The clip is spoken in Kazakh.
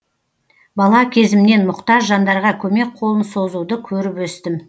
бала кезімнен мұқтаж жандарға көмек қолын созуды көріп өстім